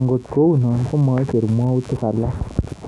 Angot kou no, ko maicher mwautik alak